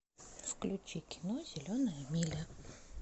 включи кино зеленая миля